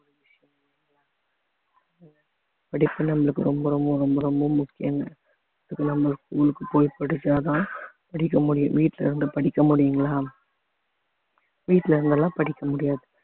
படிப்பு நம்மளுக்கு ரொம்ப ரொம்ப ரொம்ப ரொம்ப முக்கியம்ங்க அதுக்கு நம்மளுக்கு school க்கு போய் படிச்சாதா படிக்க முடியும் வீட்ல இருந்து படிக்க முடியுங்களா வீட்ல இருந்தெல்லாம் படிக்க முடியாது